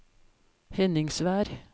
Henningsvær